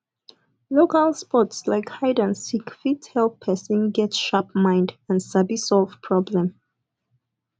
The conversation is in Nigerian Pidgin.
local sports like hide and seek fit help person get sharp mind and sabi solve problem